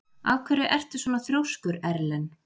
Af hverju ertu svona þrjóskur, Erlen?